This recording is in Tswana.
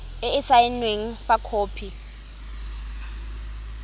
e e saenweng fa khopi